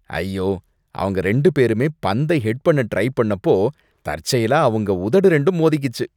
ஐயோ! அவங்க ரெண்டு பேருமே பந்தை ஹெட் பண்ண ட்ரை பண்ணப்போ தற்செயலா அவங்க உதடு ரெண்டும் மோதிக்கிச்சு.